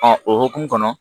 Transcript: o hokumu kɔnɔ